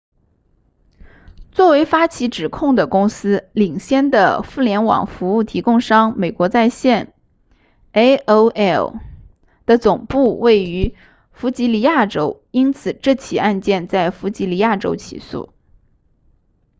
作为发起指控的公司领先的互联网服务提供商美国在线 aol 的总部位于弗吉尼亚州因此这起案件在弗吉尼亚州起诉